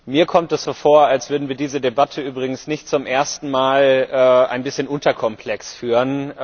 Mir kommt es so vor, als würden wir diese Debatte übrigens nicht zum ersten Mal ein bisschen unterkomplex führen.